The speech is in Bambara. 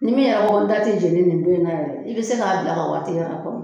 Ni min y'a fɔ n ta te jeni nin don in na yɛrɛ i be se k'a bila ka wagati yɛrɛ kɔnɔ